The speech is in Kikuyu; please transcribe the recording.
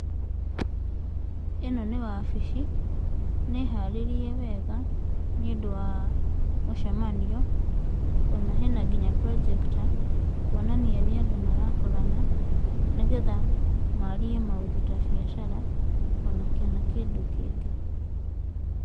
Ĩno nĩ wabici. Nĩ harĩrie wega nĩ ũndũ wa mũcemanio, ona hena nginya projector, kuonania nĩ andũ marakorana nĩgetha maarie maũndũ ta biacara, ona kana kĩndũ kĩngĩ.